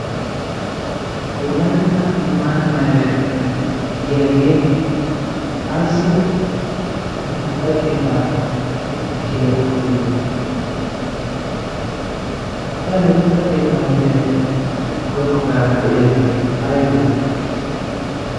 wolaytta limaati maber giyaagee ayssi buuxa keettaa misiliyaa wottide qahe buuxa keettaa misilyaeppe guyye baggaara de'iyaagee aibe